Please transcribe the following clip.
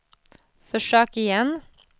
försök igen